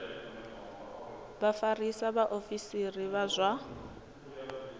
vha vhafarisa vhaofisiri vha zwa